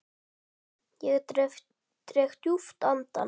Dreg djúpt andann.